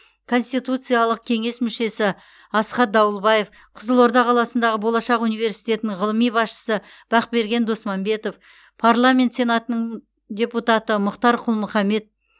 конституциялық кеңес мүшесі асхат дауылбаев қызылорда қаласындағы болашақ университетінің ғылыми басшысы бақберген досманбетов парламент сенатының депутаты мұхтар құл мұхаммед